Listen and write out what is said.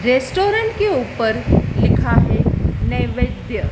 restaurant के ऊपर लिखा है नेवेद्य--